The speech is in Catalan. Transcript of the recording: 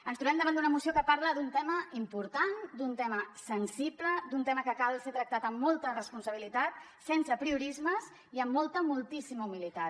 ens trobem davant d’una moció que parla d’un tema important d’un tema sensible d’un tema que cal ser tractat amb molta responsabilitat sense apriorismes i amb molta moltíssima humilitat